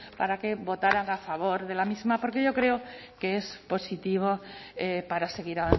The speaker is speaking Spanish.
para que votaran a favor de la misma porque yo creo que es positivo para seguir